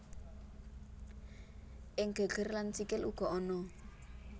Ing geger lan sikil uga ana